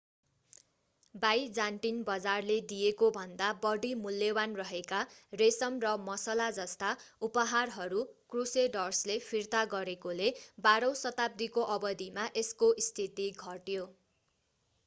Byzantine बजारले दिएकोभन्दा बढी मूल्यवान् रहेका रेशम र मसला जस्ता उपहारहरू क्रुसेडर्सले फिर्ता गरेकोले बाह्रौं शताब्दीको अवधिमा यसको स्थिति घट्यो